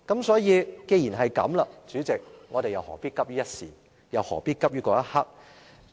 所以，代理主席，既然如此，我們何必急於一時，何必急於一刻呢？